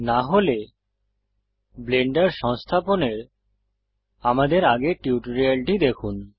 না হলে ব্লেন্ডার সংস্থাপনের আমাদের আগের টিউটোরিয়ালটি পড়ুন